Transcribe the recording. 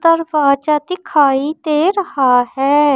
दरवाजा दिखाई दे रहा है।